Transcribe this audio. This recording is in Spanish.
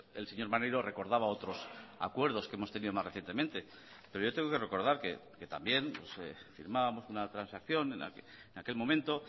el señor maneiro recordaba otros acuerdos que hemos tenido más recientemente pero yo tengo que recordar que también firmábamos una transacción en aquel momento